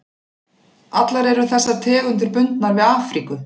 Allar eru þessar tegundir bundnar við Afríku.